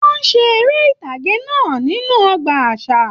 Wọn ṣe eré ìtàgé náà nínú ọgbà àṣà.